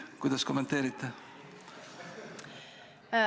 Kuidas kommenteerite?